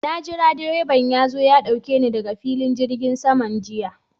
Na jira direban ya zo ya ɗauke ni daga filin jirgin saman jiya.